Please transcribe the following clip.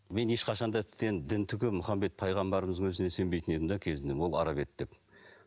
мен ешқашанда дін түгілі мұхаммед пайғамбарымыздың өзіне сенбейтін едім де кезінде ол араб еді деп